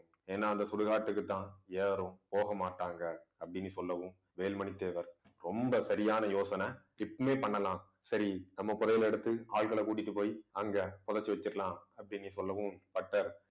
ஏன்னா, அந்த சுடுகாட்டுக்குத்தான் யாரும் போக மாட்டாங்க அப்பிடின்னு சொல்லவும் வேல்மணி தேவர் ரொம்ப சரியான யோசனை இப்பமே பண்ணலாம். சரி நம்ம புதையல் எடுத்து ஆள்களை கூட்டிட்டு போயி அங்க புதைச்சு வச்சிடலாம் அப்பிடின்னு சொல்லவும் பட்டர்